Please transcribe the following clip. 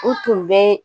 U tun bɛ